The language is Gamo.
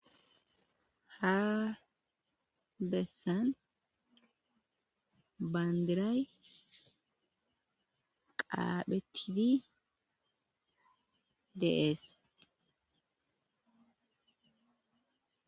ha bessan baandiray qaaphetiti de'ees